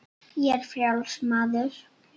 Ég er frjáls maður!